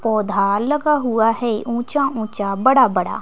पौधा लगा हुआ है ऊंचा ऊंचा बड़ा बड़ा।